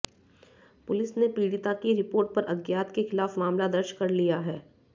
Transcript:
police ने पीड़िता की रिपोर्ट पर अज्ञात के खिलाफ मामला दर्ज कर लिया है